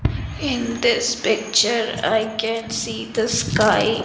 in this picture i can see the sky.